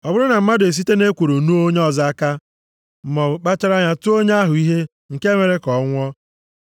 Ọ bụrụ na mmadụ esite nʼekworo nuo onye ọzọ aka, maọbụ kpachara anya tụọ onye ahụ ihe nke mere ka ọ nwụọ,